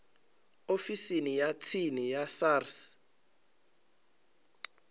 ofisini ya tsini ya sars